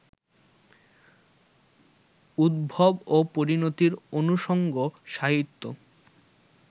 উদ্ভব ও পরিণতির অনুষঙ্গ সাহিত্য